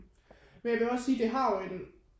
Men jeg vil også sige at det har jo en